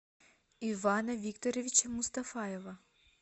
ивана викторовича мустафаева